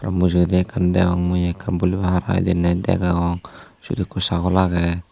mujugaydi ekan degongmui boli boll hara hiledey nat degong swot eko chagol aagey.